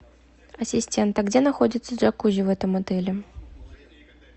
ассистент а где находится джакузи в этом отеле